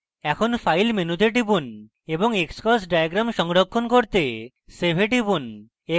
এখন file file টিপুন এবং তারপর xcos diagram সংরক্ষণ করতে save এ টিপুন